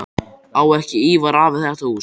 Á ekki Ívar afi þetta hús?